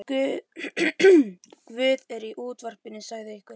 Guð er í útvarpinu, sagði einhver.